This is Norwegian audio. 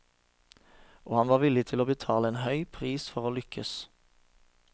Og han var villig til å betale en høy pris for å lykkes.